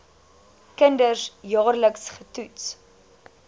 kinders jaarliks getoets